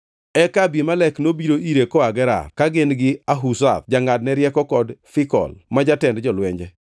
Eka Abimelek nobiro ire koa Gerar, ka gin gi Ahuzath jangʼadne rieko kod Fikol ma jatend jolwenje.